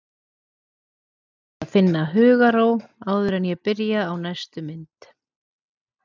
Ég verð að finna hugarró áður en ég byrja á næstu mynd.